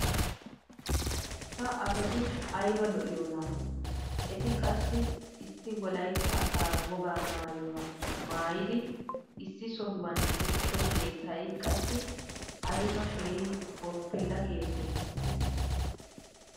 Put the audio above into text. ha asati ayba lo'iyoonaa! eti qassi issi wolaytta asaa wogaa maayuwa maayiodi issi sohuwan uttido keettay qassi ayba keehi boppila keettee!